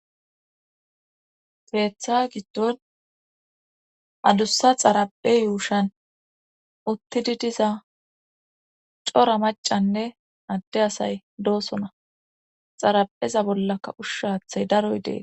peeththa giddon adussa xaraphe yuushan uttidi diza cora macanne adde asay doosona xarapheza bollaka ushshaathay daroy dees